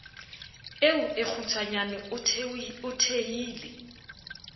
eo e kgutshwanyane o thehile